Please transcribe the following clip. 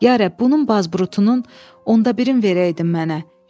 Ya rəbb, bunun bazburutunun 11-ni verəydin mənə.